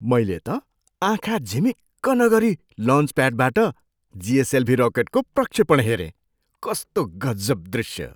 मैले त आँखा झिमिक्क नगरी लन्चप्याडबाट जिएसएलभी रकेटको प्रक्षेपण हेरेँ। कस्तो गजब दृष्य!